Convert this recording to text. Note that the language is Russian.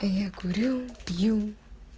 а я курю пью